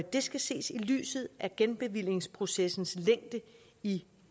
skal ses i lyset af genbevillingsprocessens længde i